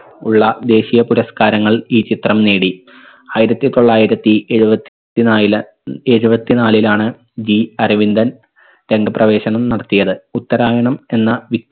ഉള്ള ദേശിയ പുരസ്കാരങ്ങൾ ഈ ചിത്രം നേടി. ആയിരത്തി തൊള്ളായിരത്തി ഏഴുപത്തി നാലില് എഴുപത്തി നാലിലാണ് G അരവിന്ദൻ രംഗപ്രവേശനം നടത്തിയത്. ഉത്തരാഹനം എന്ന